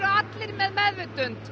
allir með meðvitund